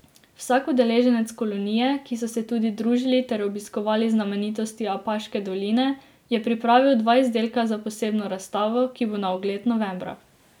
Vsak udeleženec kolonije, ki so se tudi družili ter obiskovali znamenitosti Apaške doline, je pripravil dva izdelka za posebno razstavo, ki bo na ogled novembra.